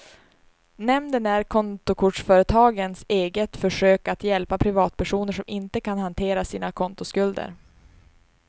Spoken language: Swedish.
Nämnden är kontokortsföretagens eget försök att hjälpa privatpersoner som inte kan hantera sina kontoskulder.